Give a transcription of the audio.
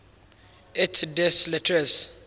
et des lettres